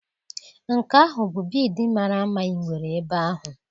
Nke ahụ bụ bịịdii mara mma ị nwere ebe ahụ.